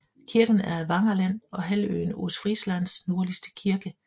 Kirken er Wangerland og halvøen Ostfrieslands nordligste kirke